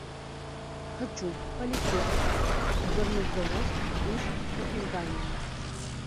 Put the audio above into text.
хочу полететь в горнозаводск из копенгагена